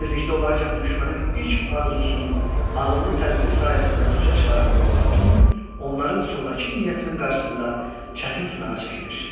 Əsirlikdə olarkən düşmənin ilk arzusunu ağıllı tədbiri sayəsində puça çıxaran Burla xatun onların sonrakı niyyətinin qarşısında çətin sınağa çəkilir.